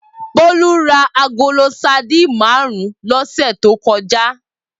Bolu rá àgóló sàdín màrún lòsè tókòjá